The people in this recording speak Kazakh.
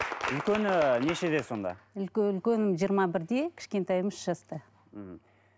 үлкені нешеде сонда үлкенім жиырма бірде кішкентайым үш жаста мхм